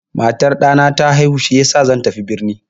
Matar ɗana ta haihu shiyasa zan tafi birni.